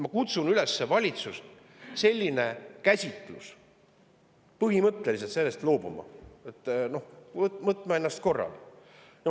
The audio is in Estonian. Ma kutsun valitsust üles põhimõtteliselt sellisest käsitlusest loobuma, kutsuma ennast korrale.